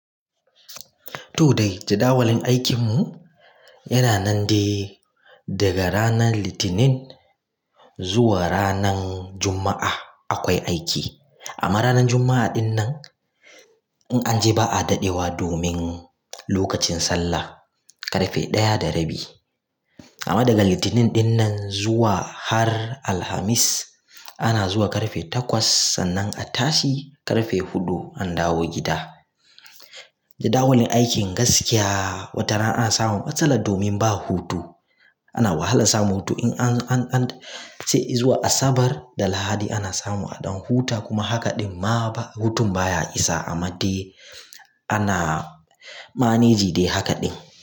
To dai jadawalin aikinmu yana nan de daga rana Litinin zuwa ranan Juma'a akwai aiki. Amma ranar Juma'a dinnan in an je ba a daɗewa domin lokacin sallah karfe ɗaya da rabi. Amma daga Litinin ɗinnan zuwa har Alhamis ana zuwa karfe takwas sannan a tashi karfe huɗu an dawo gida. Jadawalin aikin gaskiya wataran a samun matsala domin ba hutu. Ana wahalan samun hutu in an, an, ce zuwa Asabar da Lahadi ana samu a ɗan huta kuma hakaɗin ma ba hutun baya isa amma dai ana maneji de hakaɗin.